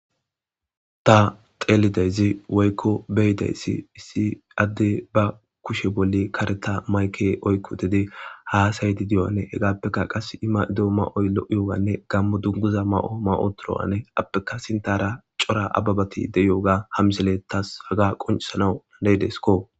Ta xelizaysi woykon beyidaysi issi adey ba kushe bolla kareta mayke oyki uttidi hasayidi diyoga hegappeka qase i mayido mayoy lo'iyogane gamo dungiza mayi uttidoga a ppeka sintara cora abebati de'iyoga ha misiley haga qoncisanaw deyidesko